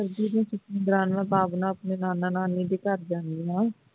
ਆਪਣੇ ਨਾਨਾ ਨਾਨੀ ਦੇ ਘਰ ਜਾਨੀ ਆਂ